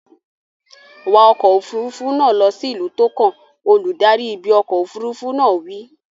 Wa ọkọ̀ òfuurufú náà lọ sí ìlú tó kàn! Olùdarí ibi ọkọ̀ òfuurufú náà wí.